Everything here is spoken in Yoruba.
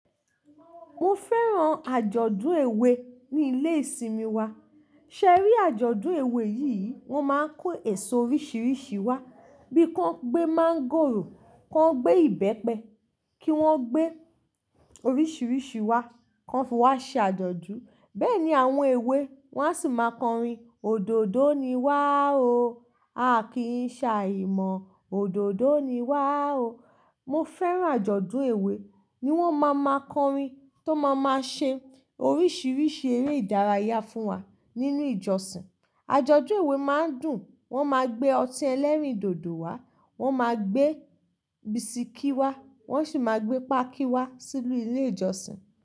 Mo fẹ́ràn àjọ̀dún èwe ní ilé ìsinmi wa. Ṣẹ́rí àjọ̀dún èwe yìí, wọ́n máa ń kó èso oríṣiríṣi wá bí kọ́ ń gbé mángòrò, kọ́ ń gbé ìbẹ́pẹ, kí wọ́n gbé oríṣiríṣi wá, ko fi wọ́n fi wá ṣe àjọ̀dún. Bẹ́ẹ̀ ni àwọn èwe, wọ́n a sì máa kọrin "Òdòdó ni wá o, a kì í ṣàìmọ̀. Òdòdó ni wá o." Mo fẹ́ràn àjọ̀dún èwe ní wọ́n máa máa kọrin tó máa máa ṣe oríṣiríṣi eré ìdárayá fún wa nínú ìjọsìn. Àjọ̀dún èwe máa ń dùn, wọn máa gbé ọtí ẹlẹ́rìndòdò wá, wọn máa gbé bisikí wá, wọ́n sì máa gbé páákí wá sínú ilé ìjọsìn.